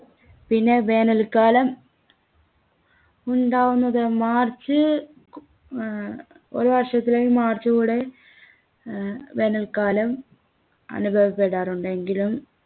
പിന്നെ വേനൽക്കാലം ഉണ്ടാവുന്നത് മാർച്ച് ഏർ ഒരു വർഷത്തിലേയും മാർച്ചു കൂടെ ഏർ വേനൽക്കാലം അനുഭവപ്പെടാറുണ്ട് എങ്കിലും